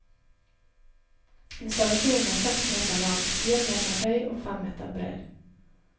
Installasjonen er seks meter lang, fire meter høy og fem meter bred.